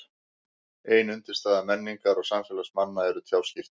Ein undirstaða menningar og samfélags manna eru tjáskipti.